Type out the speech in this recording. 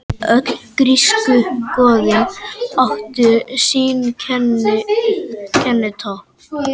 Öll grísku goðin áttu sín kennitákn.